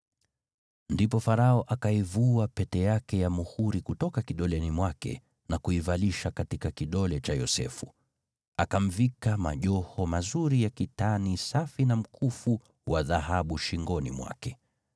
Ndipo Farao akaivua pete yake ya muhuri kutoka kidoleni mwake na kuivalisha katika kidole cha Yosefu. Akamvika majoho mazuri ya kitani safi na mkufu wa dhahabu shingoni mwake.